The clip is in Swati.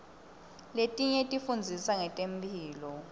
letinye tifundzisa ngetemphilo